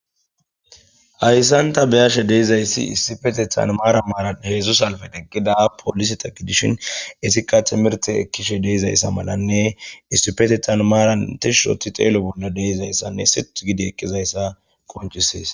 Hayssanta beyashe deizayssi istifete tanmaara maaran heedzdzusalfed eggida poliseta gidishin isikka timirte ekkishe deeizayssa malanne istipetetanmaaran tishusoti xeelo bolla deizayssanne sith gidi ekkizayssa qonchisees.